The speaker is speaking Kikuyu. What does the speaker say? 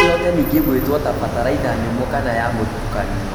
Noĩhote nĩngĩ kũgwetwo ta bataraitha nyũmũ kana ya mũtukanio